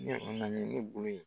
Ɲe o nalen ɲe bolo ye